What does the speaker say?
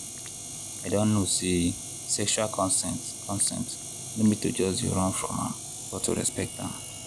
i don know say sexual consent consent no be to just dey run from am but to respect am.